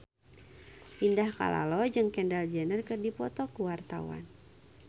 Indah Kalalo jeung Kendall Jenner keur dipoto ku wartawan